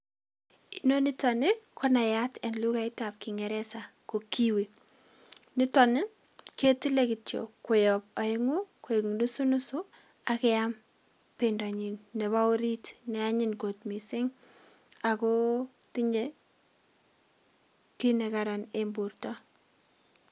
Inoniton nii konayat en lukai ab kingeresa ko kiwi niton nii ketile kityok koyob oengu koik nusu nusu ak keam pendonyin nebo orit ne anyin kot missing ako tinyee kit nekaran en borto.